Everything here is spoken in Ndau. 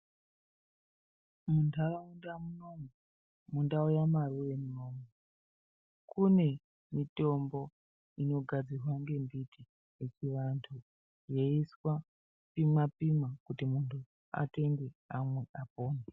Muntaraunda munomu mundau yamarure munomu kune mitombo inogadzirwa ngembiti yechivantu. Yeiiswa kupimwa-pimwa kuti vantu atenge amwe apone.